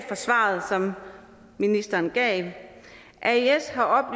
fra svaret som ministeren gav aes har